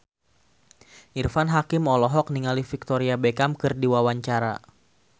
Irfan Hakim olohok ningali Victoria Beckham keur diwawancara